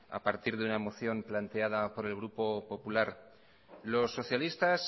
a partir de una moción planteada por el grupo popular los socialistas